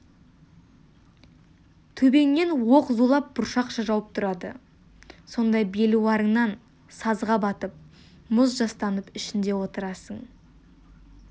төбеңнен оқ зулап бұршақша жауып тұрады сонда белуарыңнан сазға батып мұз жастанып ішінде отырасың